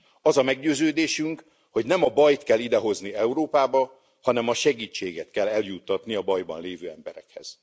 Az a meggyőződésünk, hogy nem a bajt kell idehozni Európába, hanem a segítséget kell eljuttatni a bajban lévő emberekhez.